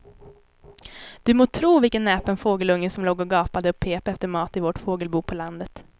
Du må tro vilken näpen fågelunge som låg och gapade och pep efter mat i vårt fågelbo på landet.